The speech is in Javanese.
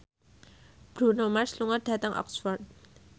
Bruno Mars lunga dhateng Oxford